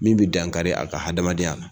Min bɛ dankari a ka hadamadenya la